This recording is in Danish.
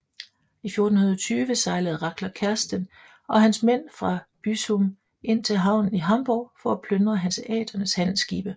I 1420 sejlede Rackler Kersten og hans mænd fra Büsum ind til havnen i Hamborg for at plyndre hanseaternes handelsskibe